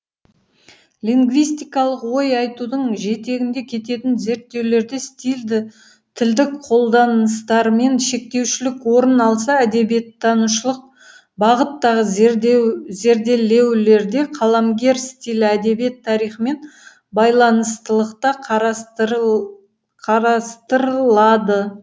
лингвистикалық ой айтудың жетегінде кететін зерттеулерде стильді тілдік қолданыстармен шектеушілік орын алса әдебиеттанушылық бағыттағы зерделеулерде қаламгер стилі әдебиет тарихымен байланыстылықта қарастырлады